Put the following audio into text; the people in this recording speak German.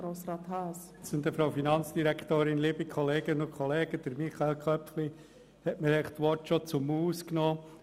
Grossrat Köpfli hat mir die Worte aus dem Mund genommen.